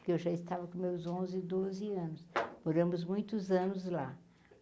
Que eu já estava com meus onze, doze anos, moramos muitos anos lá.